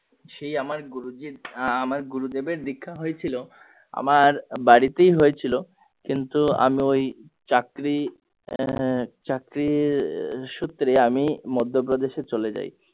সেই আমার গুরুজী আমার গুরুদেবের দীক্ষা হয়েছিল আমার বাড়িতেই হয়েছিল কিন্তু আমি ওই চাকরি আহ চাকরিরি সূত্রে আমি মধ্যপ্রেদেশে চলে যাই